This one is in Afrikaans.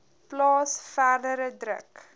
plaas verdere druk